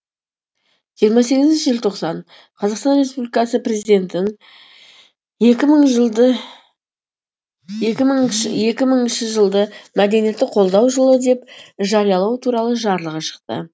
жиырма сегізінші желтоқсан қазақстан республикасы президентінің екі мыңыншы жылды мәдениетті қолдау жылы деп жариялау туралы жарлығы шықты